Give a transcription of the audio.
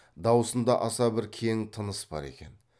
дауысында аса бір кең тыныс бар екен